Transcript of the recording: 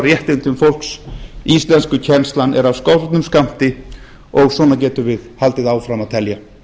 réttindum fólks íslenskukennslan er af skornum skammti og svona getum við haldið áfram að telja